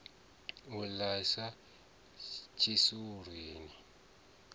u a ḽiwa tshisulu lini